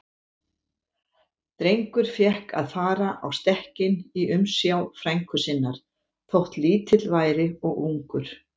Drengur fékk að fara á stekkinn í umsjá frænku sinnar, þótt lítill væri og ungur.